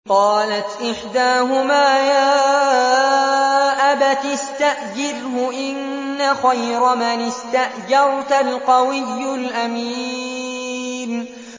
قَالَتْ إِحْدَاهُمَا يَا أَبَتِ اسْتَأْجِرْهُ ۖ إِنَّ خَيْرَ مَنِ اسْتَأْجَرْتَ الْقَوِيُّ الْأَمِينُ